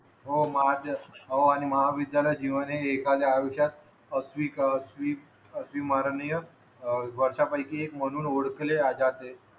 हो महा तेच हो आणि महाविद्यालय जीवन हे एकाले आयुष्यात असवी असव्ही अस्विमरणीय वर्षांपैकी एक म्हणून ओळखले जाते